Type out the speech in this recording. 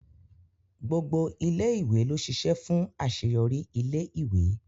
Gbogbo ilé ìwé ló ṣiṣẹ́ fún àṣeyọrí ilé ìwé